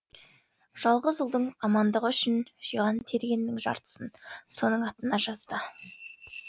жалғыз ұлдың амандығы үшін жиған тергенінің жартысын соның атына жазды